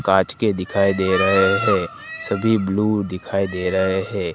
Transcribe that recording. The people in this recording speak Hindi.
काच के दिखाई दे रहा है सभी ब्लू दिखाई दे रहा है।